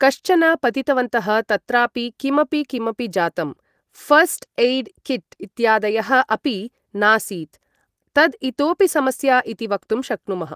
कश्चन पतितवन्तः तत्रापि किमपि किमपि जातं ऴस्ट् एय्ड् किट् इत्यादयः अपि नासीत् तद् इतोपि समस्या इति वक्तुं शक्नुमः